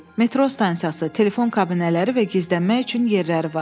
Metro stansiyası, telefon kabinələri və gizlənmək üçün yerləri var.